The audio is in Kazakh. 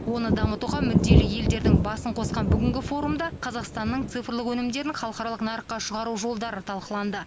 оны дамытуға мүдделі елдердің басын қосқан бүгінгі форумда қазақстанның цифрлық өнімдерін халықаралық нарыққа шығару жолдары талқыланды